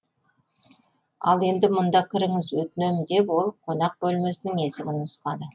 ал енді мұнда кіріңіз өтінем деп ол қонақ бөлмесінің есігін нұсқады